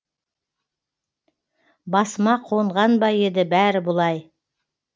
басыма қонған ба еді бәрі бұлай